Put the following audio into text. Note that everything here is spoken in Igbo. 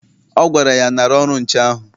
Ọ gwara ya, nara ọrụ nche ahụ!